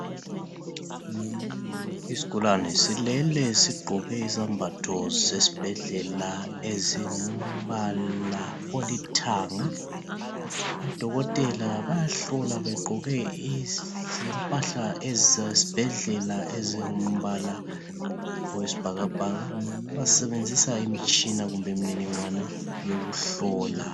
Isigulane silele sigqoke izembatho zesibhedlela ezingumbala olithanga. Odokotela bayahlola begqoke izimpahla ezesibhedlela ezingumbala oyisibhakabhaka. Basebenzisa imitshina kumbe imininingwane yokuhlola.